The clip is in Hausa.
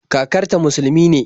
Kakarta musulumi ne